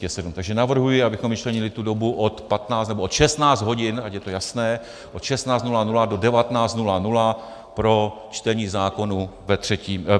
Takže navrhuji, abychom vyčlenili tu dobu od 15 - nebo od 16 hodin, ať je to jasné, od 16.00 do 19.00 pro čtení zákonů ve třetím...